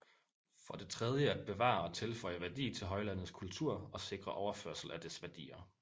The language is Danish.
For det tredje at bevare og tilføje værdi til højlandets kultur og sikre overførsel af dets værdier